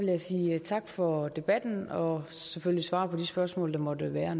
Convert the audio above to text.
jeg sige tak for debatten og selvfølgelig svare på de spørgsmål der måtte være